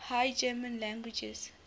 high german languages